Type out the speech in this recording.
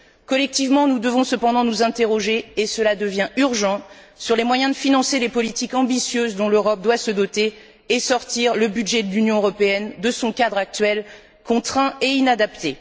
Collectivement, nous devons cependant nous interroger et cela devient urgent sur les moyens de financer les politiques ambitieuses dont l'Europe doit se doter et de sortir le budget de l'Union européenne de son cadre actuel, contraint et inadapté.